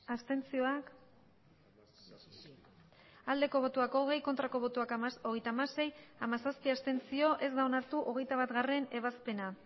abstentzioa hogei bai hogeita hamasei ez hamazazpi abstentzio ez da onartu hogeita batgarrena ebazpena